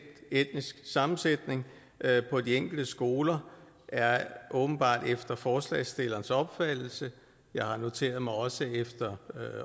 etnisk sammensætning på de enkelte skoler åbenbart efter forslagsstillernes opfattelse jeg har noteret mig også efter